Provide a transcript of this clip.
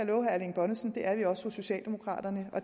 love herre erling bonnesen at vi også socialdemokraterne